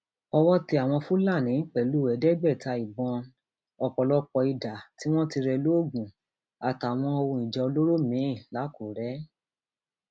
owó tẹ àwọn fúlàní pẹlú ẹẹdẹgbẹta ìbọn ọpọlọpọ ìdá tí wọn ti rẹ lóògùn àtàwọn ohun ìjà olóró mìín làkùrẹ